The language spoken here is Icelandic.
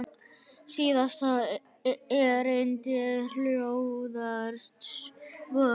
Síðasta erindið hljóðar svo